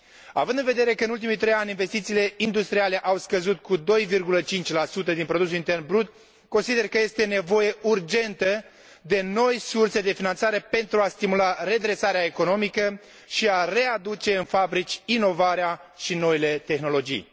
Având în vedere că, în ultimii trei ani, investițiile industriale au scăzut cu 2,5 din produsul intern brut, consider că este nevoie urgentă de noi surse de finanțare pentru a stimula redresarea economică și a readuce în fabrici inovarea și noile tehnologii.